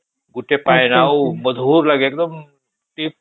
ଗୋଟେ ପାଣି ପୁରା ମଧୁର ଲାଗେ ଏକଦମ